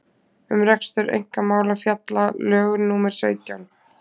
um rekstur einkamála fjalla lög númer sautján